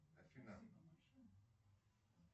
афина